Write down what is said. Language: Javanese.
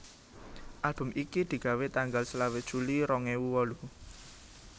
Album iki digawé tanggal selawe juli rong ewu wolu